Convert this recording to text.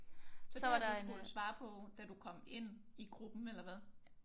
Så det at du skulle svare på da du kom ind i gruppen eller hvad?